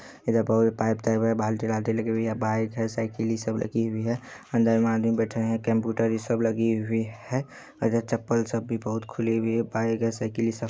इधर बहुत पाइप और बाल्टी वाल्टी लगी हुई है बाइक है साइकिल ई सब लगी हुई है अंदर में आदमी बैठे है कम्प्युटर इ सब लगी हुई है और जो चप्पल है वो सब भी खुली हुई है।